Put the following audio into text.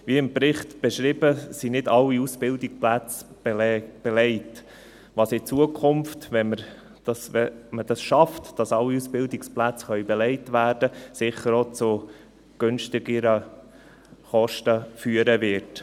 Wie im Bericht beschrieben, sind nicht alle Ausbildungsplätze belegt, was in Zukunft, wenn alle Ausbildungsplätze belegt werden können, sicher auch zu günstigeren Kosten führen wird.